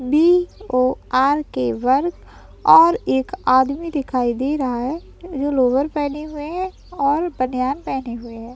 VORK. के work और एक आदमी दिखाई दे रहा है। जो लोअर पेहने हुए है और बनियान पेहने हुए है।